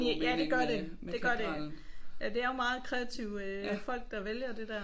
Ja det gør det det gør det. Det er jo meget kreative øh folk der vælger det der